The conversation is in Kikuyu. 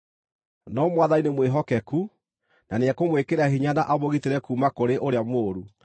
No Mwathani nĩmwĩhokeku, na nĩekũmwĩkĩra hinya na amũgitĩre kuuma kũrĩ ũrĩa mũũru.